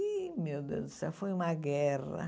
Ih, meu Deus do céu, foi uma guerra.